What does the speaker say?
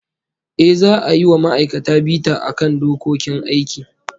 Ehh, za'a yi wa ma'aikata bita akan dokokin aiki